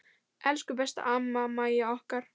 Elsku besta amma Mæja okkar.